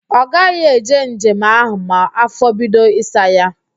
Ọ gaghị eje njem ahụ ma afọ bido ịsa ya